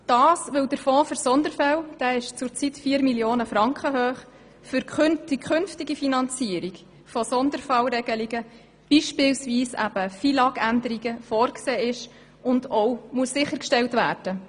Der Fonds für Sonderfälle ist für die zukünftige Finanzierung von Sonderfallregelungen, beispielsweise FILAG-Änderungen, vorgesehen und muss auch sichergestellt werden.